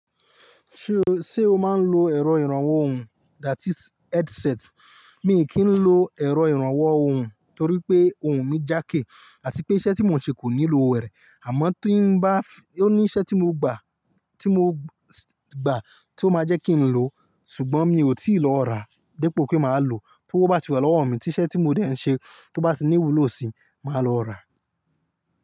Ṣe o máa ń lo ẹ̀rọ ìrànwọ́ ohùn that is headset? Mi kì í lo ẹ̀rọ ìrànwọ́ ohùn torí pé ohùn mi jákè àti pé iṣẹ́ tí mò ń ṣe kò nilo rẹ Àmọ́ tí ń bá, ó ní iṣẹ́ tí mo gbà, tí mo gbà tó máa jẹ́ kí n lo. Ṣùgbọ́n mi ò tí ì lọ rà, dípò pé màá lo, t'ówo bá ti wà lọ́wọ́ mi, tí iṣẹ́ tí mo dẹ̀ ń ṣe tó bá ti ní ìwúlò sí, màá lọ rà.